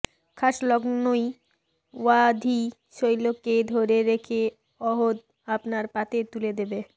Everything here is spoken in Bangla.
খাস লখনউই অওয়াধি শৈলীকে ধরে রেখে অওধ আপনার পাতে তুলে দেবে